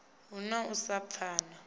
hu na u sa pfana